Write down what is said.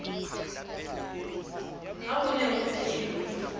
ha ho ne ho phelwa